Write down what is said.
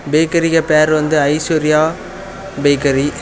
பேக்கரிக்கு பேரு வந்து ஐஸ்வர்யா பேக்கரி .